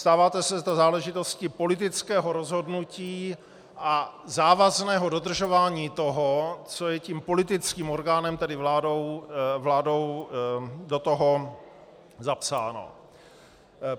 Stává se to záležitostí politického rozhodnutí a závazného dodržování toho, co je tím politickým orgánem, tedy vládou, do toho zapsáno.